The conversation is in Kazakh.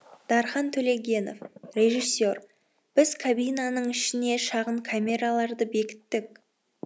дархан төлегенов режиссер біз кабинаның ішіне шағын камераларды бекіттік